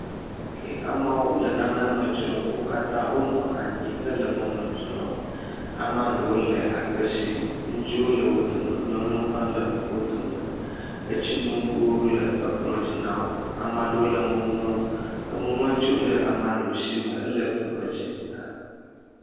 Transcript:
Amewo le nane me dzrom. Wo katã wo nɔ anyi hele nuwo me dzrom. Amea ɖewo le akpe sim. Ŋutsu le wo dome. Nyɔnuwo hã le wo dome. Etsi noŋgo le ekplɔ dzi na wo. Ame aɖewo le enu ŋlɔm. enuŋlɔtiwo le ame aɖewo si me hele kplɔ dzi na wo.